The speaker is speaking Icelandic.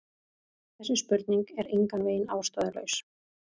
Þessi spurning er engan veginn ástæðulaus.